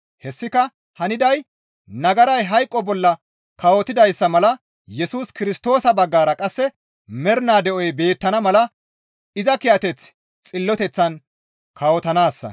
Hessika haniday nagaray hayqo bolla kawotidayssa mala Yesus Kirstoosa baggara qasse mernaa de7oy beettana mala iza kiyateththi xilloteththan kawotanaassa.